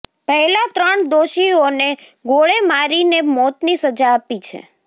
પહેલા ત્રણ દોષીઓને ગોળે મારીને મૌતની સજા આપી છે